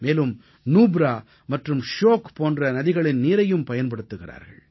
மேலும் நுப்ரா மற்றும் ஷியோக் போன்ற நதிகளின் நீரையும் பயன்படுத்துகிறார்கள்